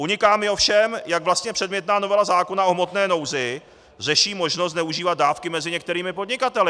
Uniká mi ovšem, jak vlastně předmětná novela zákona o hmotné nouzi řeší možnost zneužívat dávky mezi některými podnikateli.